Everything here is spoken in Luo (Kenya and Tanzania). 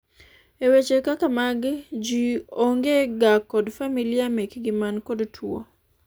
e weche kaka magi, jii onge ga kod familia mekgi man kod tuo